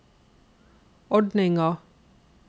ordninga